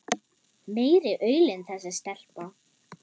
Meiri aulinn þessi stelpa.